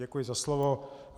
Děkuji za slovo.